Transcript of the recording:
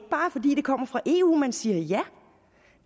kommer fra eu man siger ja